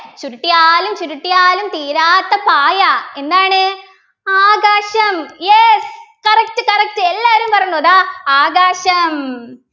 ചുരുട്ടിയാലും ചുരുട്ടിയാലും തീരാത്ത പായ എന്താണ് ആകാശം yes correct correct എല്ലാവരും പറഞ്ഞു ദാ ആകാശം